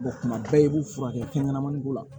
tuma bɛɛ i b'u furakɛ fɛn ɲɛnamani ko la